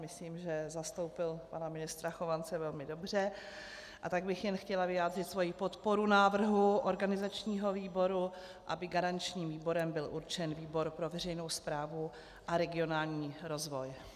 Myslím, že zastoupil pana ministra Chovance velmi dobře, a tak bych jen chtěla vyjádřit svoji podporu návrhu organizačního výboru, aby garančním výborem byl určen výbor pro veřejnou správu a regionální rozvoj.